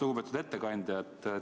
Lugupeetud ettekandja!